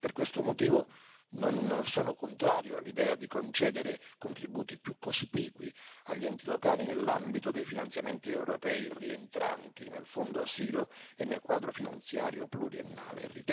Per questo motivo non sono contrario all'idea di concedere contributi più cospicui agli enti locali, nell'ambito dei finanziamenti europei rientranti nel fondo asilo e nel quadro finanziario pluriennale.